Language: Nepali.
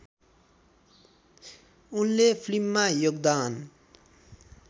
उनले फिल्ममा योगदान